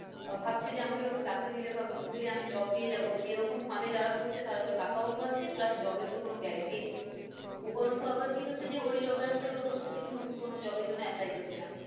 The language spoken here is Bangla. আহ ভাবছে যে আমাকে হয় টাকা দিলে বা ঘুষ দিলেই আমি job পেয়ে যাব এরকম ফাঁদে যারা পড়ছে তারা তো টাকাও খোয়াচ্ছে plus job এর তো কোন guarantie নেই উপরন্তু আবার কি হচ্ছে যে ওই job এর আশায় ওরা বসেথেকে নতুন কোনো job এর জন্য apply করছে না।